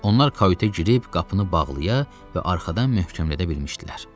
Onlar kauta girib qapını bağlaya və arxadan möhkəmlədə bilmişdilər.